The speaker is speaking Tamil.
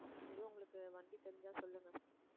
எதுவும் உங்களுக்கு வண்டி தெரிஞ்சா சொல்லுங்க